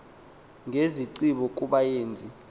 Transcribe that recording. ngezinxibo kuba ezi